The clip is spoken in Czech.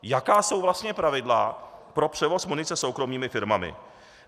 Jaká jsou vlastně pravidla pro převoz munice soukromými firmami?